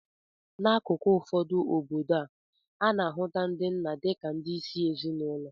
N'akụkụ ụfọdụ nke obodo a, a na-ahụta ndị nna dị ka ndị isi ezinụlọ